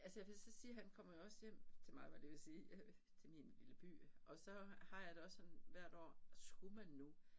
Altså for jeg vil så sige han kommer jo også hjem til mig var jeg lige ved at sige øh til min lille by og så har jeg det også sådan hvert år skulle man nu